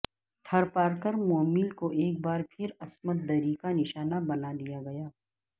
تھرپارکر مومل کو ایک با ر پھرعصمت دری کا نشانہ بنا دیا گیا